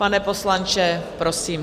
Pane poslanče, prosím.